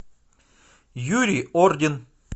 юрий ордин